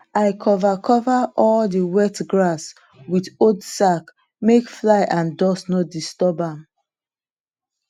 i cover cover all the wet grass with old sack make fly and dust no disturb am